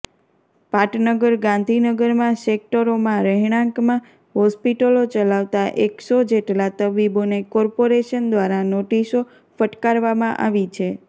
પાટનગર ગાંધીનગરમાં સેક્ટરોમાં રહેણાંકમાં હોસ્પિટલો ચલાવતા એકસો જેટલા તબીબોને કોર્પોરેશન દ્વારા નોટિસો ફટકારવામાં આવી છે